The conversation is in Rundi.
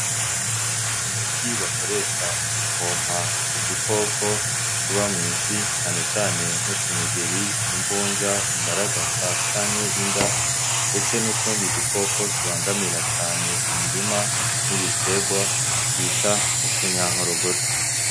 Umuti bakoresha mu gupompa udu koko tuba mwisi canecane nkutu nyegeri, imvunja, imbaragasa canke inda ndetse n'utundi dukoko tubangamira cane imirima n'ibiterwa bita utunyankorogoto.